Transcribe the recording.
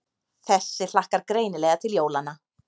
Þessi hlakkar greinilega til jólanna.